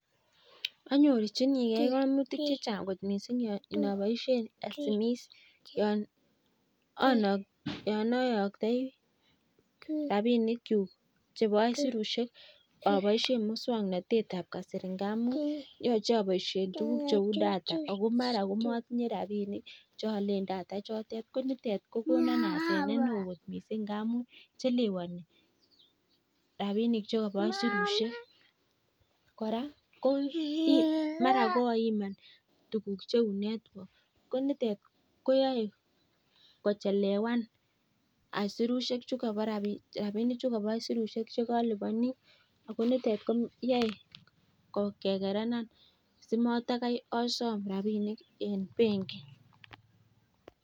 Amuu abaishe (data) akomuch matinyee rabishek chotok bo (data) koraa mara koimaa (network) sikochelewan rabishek che ayatoi